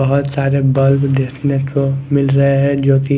बोहोत सारे बल्ब देखने को मिल रहे है जो की--